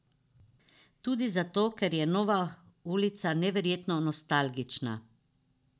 Tudi zato, ker je nova ulica neverjetno nostalgična.